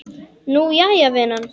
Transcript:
Nú, jæja, vinan.